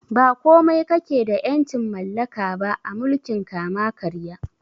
Ba komai kakeda ƴancin mallaka ba a mulkin kama karya